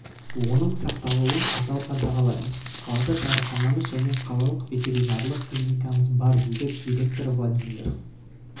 оның сақталуын қатал қадағалаймыз қалада дәріханамыз және қалалық ветеринарлық клиникамыз бар дейді директоры владимир